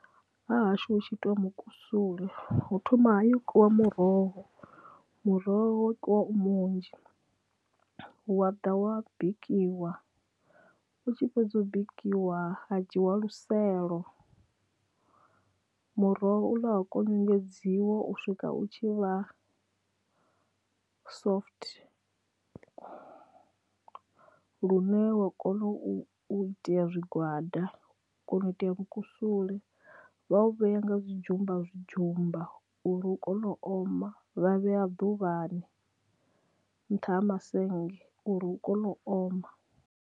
Ha hashu hu tshi itiwa mukusule hu thoma ha yo kiwa muroho muroho kwa u munzhi wa ḓa wa bikiwa u tshi fhedza u bikiwa wa dzhiiwa luselo muroho u ḽa ha konyongedziwa u swika u tshi vha soft lune wa kona u itea zwigwada kona u itea mukusule vha u vhea nga zwidzhumba zwidzhumba uri hu kone u oma vha vhea ḓuvhani nṱha ha mazennge uri hu kone u oma.